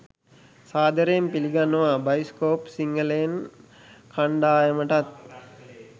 සාදරයෙන් පිළිගන්නවා බයිස්කෝප් සිංහලෙන් කණ්ඩායමටත්.